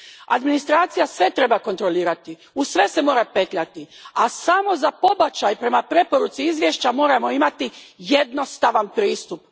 Administracija sve treba kontrolirati, u sve se mora petljati, a samo za pobačaj, prema preporuci izvješća, moramo imati jednostavan pristup.